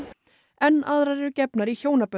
enn aðrar eru gefnar í hjónabönd